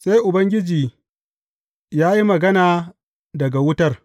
Sai Ubangiji ya yi magana daga wutar.